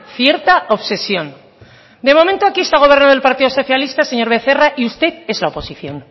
cierta obsesión de momento aquí está gobernando el partido socialista señor becerra y usted es la oposición